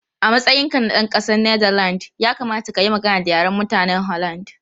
A matsayinka na ɗan ƙasar Netherlands, ya kamata ka yi magana da Yaren mutanen Holland.